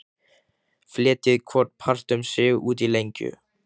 Fletjið hvorn part um sig út í lengju.